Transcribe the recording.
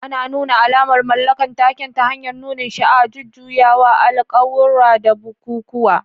Ana nuna alamar mallakar taken ta hanyar nunin sha'awa, jujjuyawa, alƙawura, da bukukuwa.